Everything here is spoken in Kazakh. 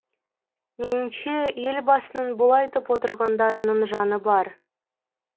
меніңше елбасының бұл айтып отырғандарының жаны бар